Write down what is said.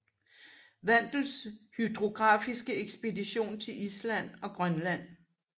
Wandels hydrografiske ekspedition til Island og Grønland